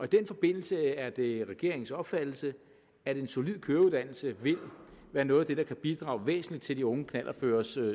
den forbindelse er det regeringens opfattelse at en solid køreuddannelse vil være noget af det der kan bidrage væsentligt til de unge knallertkøreres